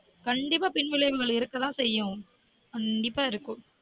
கண்டீப்பா பின் விளைவுகள் இருக்க தான் செய்யும் கண்டீப்பா இருக்கு